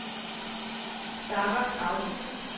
Zahra Krause